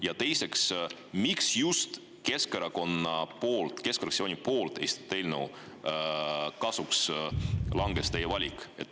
Ja teiseks: miks just Keskerakonna fraktsiooni esitatud eelnõu kasuks langes teie valik?